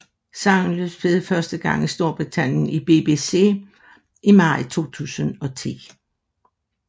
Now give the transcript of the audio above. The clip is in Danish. Sangen blev spillet første gang i Storbritannien i BBC i maj 2010